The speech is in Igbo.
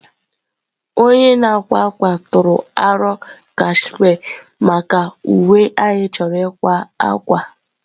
Onye na-akwa akwa tụrụ aro cashmere maka uwe anyị chọrọ ịkwa akwa.